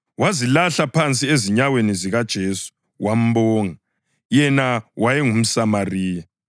Wazilahla phansi ezinyaweni zikaJesu wambonga, yena wayengumSamariya.